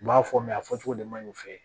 N b'a fɔ mɛ a fɔcogo de ma ɲi fe